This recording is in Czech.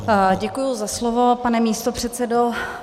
Děkuji za slovo, pane místopředsedo.